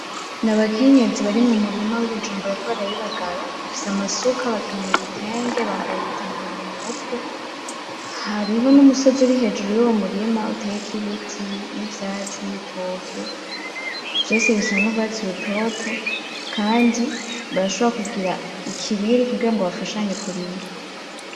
Nabakenyezi bari mu murima w’ibijumbu bariko barabibagara, bafise amasuka, bakenyeye ibitenge, bambaye ibitambara mu mutwe. Hariho n’umusozi uri hejuru y’uwo murima uteyeko ibiti, n’ivyatsi, n’ibitoke. Vyose bisa n’urwatsi rutoto kandi barashobora kugira ikibiri kugira ngo bafashanye kurima.